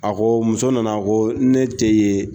A ko muso nana ko ne tɛ ye